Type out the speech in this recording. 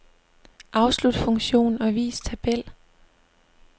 Afslut funktion og vis tabel.